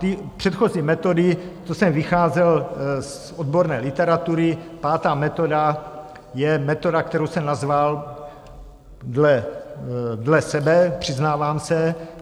Ty předchozí metody, to jsem vycházel z odborné literatury, pátá metoda je metoda, kterou jsem nazval dle sebe, přiznávám se...